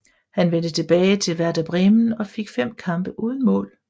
Han vendte tilbage til Werder Bremen og fik 5 kampe uden mål